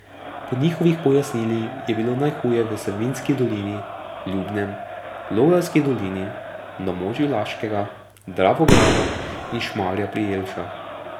Po njihovih pojasnili je bilo najhuje v Savinjski dolini, Ljubnem, Logarski dolini, na območju Laškega, Dravograda in Šmarja pri Jelšah.